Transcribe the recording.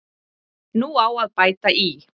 Nú á að bæta í.